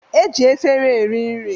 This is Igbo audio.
E ji efere eri nri